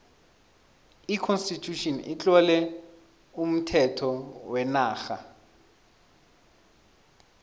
j constitution itlowe umthetho wenarha